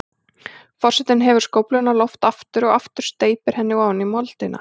Forsetinn hefur skófluna á loft aftur og aftur og steypir henni ofan í moldina.